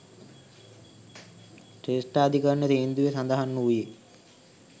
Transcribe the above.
ශ්‍රේෂ්ඨාධිකරණ තීන්දුවේ සඳහන් වූයේ.